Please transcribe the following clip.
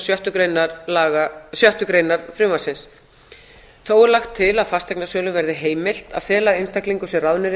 sjöttu grein frumvarpsins þó er lagt til að fasteignasölum verði heimilt að fela einstaklingum sem ráðnir